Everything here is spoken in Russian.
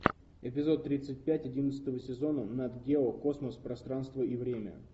эпизод тридцать пять одиннадцатого сезона нат гео космос пространство и время